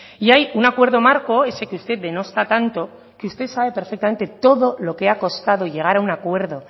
y hay un acuerdo marco ese que usted denosta tanto que usted sabe perfectamente todo lo que ha costado llegar a un acuerdo